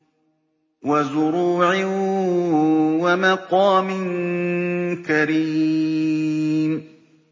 وَزُرُوعٍ وَمَقَامٍ كَرِيمٍ